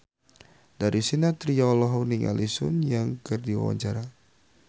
Darius Sinathrya olohok ningali Sun Yang keur diwawancara